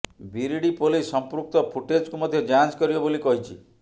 Biridi police ସମ୍ପୃକ୍ତ ଫୁଟେଜକୁ ମଧ୍ୟ ଯାଞ୍ଚ କରିବ ବୋଲି କହିଛି